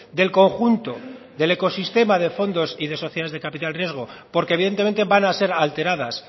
del conjunto del ecosistema de fondos y de sociedades de capital riesgo porque evidentemente van a ser alteradas